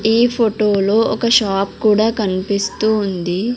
ఈ ఫొటో లో ఒక షాప్ కూడా కనిపిస్తూ ఉంది.